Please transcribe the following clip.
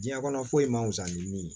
Diɲɛ kɔnɔ foyi man fusa ni min ye